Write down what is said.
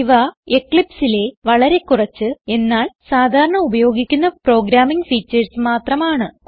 ഇവ eclipseലെ വളരെ കുറച്ച് എന്നാൽ സാധാരണ ഉപയോഗിക്കുന്ന പ്രോഗ്രാമിംഗ് ഫീച്ചർസ് മാത്രമാണ്